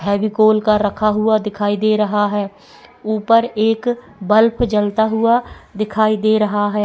Heavy गोल का रखा हुआ दिखाई दे रहा है ऊपर एक बल्ब जलता हुआ दिखाई दे रहा है।